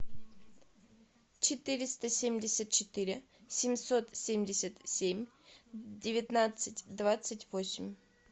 четыреста семьдесят четыре семьсот семьдесят семь девятнадцать двадцать восемь